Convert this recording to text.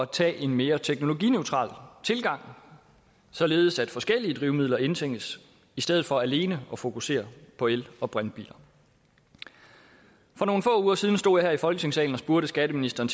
tage en mere teknologineutral tilgang således at forskellige drivmidler indtænkes i stedet for alene at fokusere på el og brintbiler for nogle få uger siden stod jeg her i folketingssalen og spurgte skatteministeren